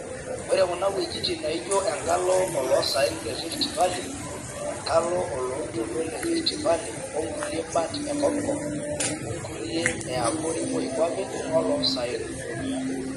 Ore kuna wuejitin naijo enkalo oloo saen le Rift Valley, enkalo oloontoluo le Rift Valley o nkulie bat e kop kop o nkulie e abori moi kuape oloosaen